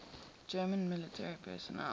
german military personnel